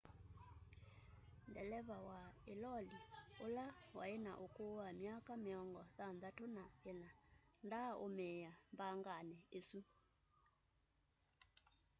deleva wa ĩloli ũla wa ĩna ũkũũ wa myaka mĩongo thanthatũ na ĩna ndaa ũmĩĩa mbanganĩ ĩsũ